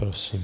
Prosím.